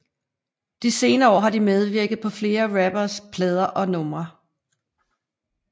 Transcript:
De senere år har de medvirket på flere danske rapperes plader og numre